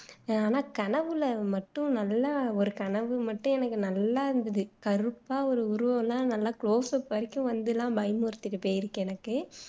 ஆனா கனவுல மட்டும் நல்லா ஒரு கனவு மட்டும் எனக்கு நல்லா இருந்துது கருப்பா ஒரு உருவம் எல்லாம் நல்லா close up வரைக்கும் வந்து எல்லாம் பயமுறுத்திட்டு போயிருக்கு எனக்கு